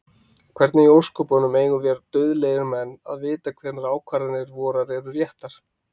Hvernig í ósköpunum eigum vér dauðlegir menn að vita hvenær ákvarðanir vorar eru réttar?